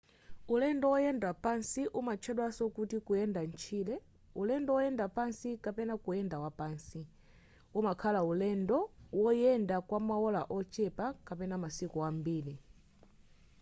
ulendo woyenda pansi umatchedwaso kuti kuyenda mtchire” ulendo woyenda wapansi” kapena kuyenda wapansi” umakhala ulendo woyenda kwamaola ochepa kapena masiku ambiri